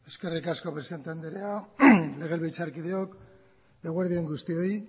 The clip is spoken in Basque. eskerrik asko presidente anderea legebiltzarkideok eguerdi on guztioi